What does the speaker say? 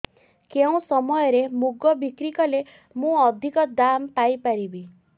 କେଉଁ ସମୟରେ ମୁଗ ବିକ୍ରି କଲେ ମୁଁ ଅଧିକ ଦାମ୍ ପାଇ ପାରିବି